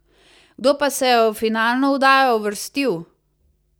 Kdo pa se je v finalno oddajo uvrstil?